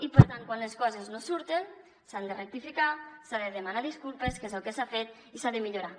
i per tant quan les coses no surten s’han de rectificar s’ha de demanar disculpes que és el que s’ha fet i s’ha de millorar